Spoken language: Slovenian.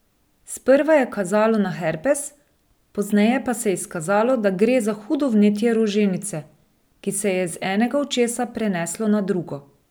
Sprva je kazalo na herpes, pozneje pa se je izkazalo, da gre za hudo vnetje roženice, ki se je z enega očesa preneslo na drugo.